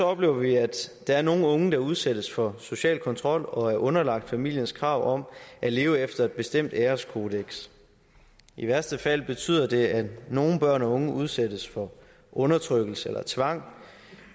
oplever vi at der er nogle unge der udsættes for social kontrol og er underlagt familiens krav om at leve efter et bestemt æreskodeks i værste fald betyder det at nogle børn og unge udsættes for undertrykkelse eller tvang